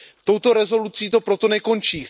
Touto rezolucí to proto nekončí.